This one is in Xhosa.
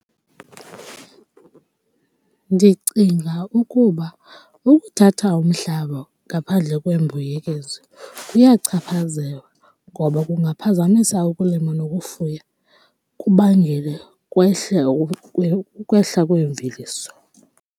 Ndicinga ukuba ukuthatha umhlaba ngaphandle kwembuyekezo kuyachaphazela ngoba kungaphazamisa ukulima nokufuya, kubangele kwehle ukwehla kweemveliso.